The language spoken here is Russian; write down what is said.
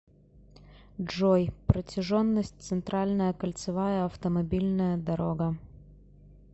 джой протяженность центральная кольцевая автомобильная дорога